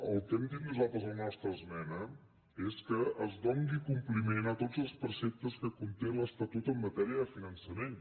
el que hem dit nosaltres a la nostra esmena és que es doni compliment a tots els preceptes que conté l’estatut en matèria de finançament